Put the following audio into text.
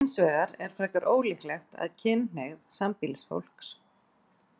Hinsvegar er frekar ólíklegt að kynhneigð sambýlisfólks.